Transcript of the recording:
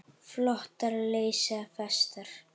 Flotar leysa festar.